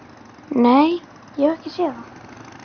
Nei, ég hef ekki séð það.